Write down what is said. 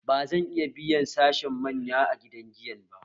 Bazan iya biyan sashen manya a gidan giyan ba